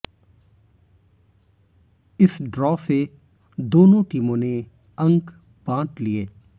इस ड्रा से दोनों टीमों ने अंक बांट लिए